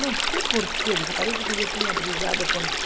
Não sei porquê, parece que eu tinha brigado com ele.